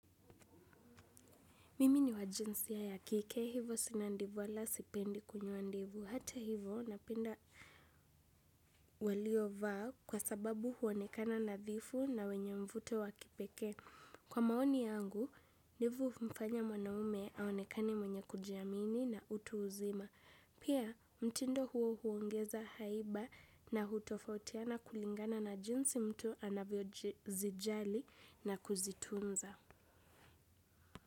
Mimi ni wa jinsia ya kike, hivo sina ndevu wala sipendi kunyoa ndevu. Hata hivyo, napenda waliovaa kwa sababu huonekana nadhifu na wenye mvuto wa kipekee. Kwa maoni yangu, ndevu hummfanya mwanaume aonekane mwenye kujiamini na utu uzima. Pia, mtindo huo huongeza haiba na hutofautiana kulingana na jinsi mtu anavyo zijali na kuzitunza.